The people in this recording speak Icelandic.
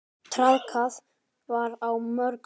Traðkað verið á mörkum.